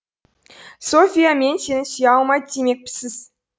софья мен сені сүйе алмайм демекпісіз